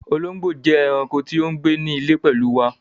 Òlòngbó jẹ́ ẹ̀raǹkò tí o ńgbẹ̀ ní ilẹ̀ pẹ̀lu wà